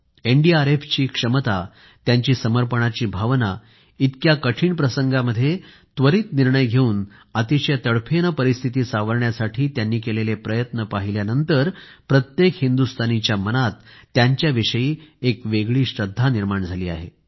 एनडीआरएफची क्षमता त्यांची समर्पणाची भावना इतक्या कठीण प्रसंगामध्ये त्वरित निर्णय घेऊन अतिशय तडफेने परिस्थिती सावरण्यासाठी त्यांनी केलेले प्रयत्न पाहिल्यानंतर प्रत्येक हिंदुस्तानीच्या मनात त्यांच्याविषयी एक वेगळी श्रद्धा निर्माण झाली आहे